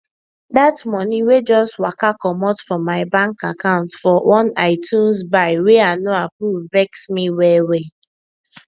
that money wey just waka comot from my bank account for one itunes buy wey i no approve vex me wellwell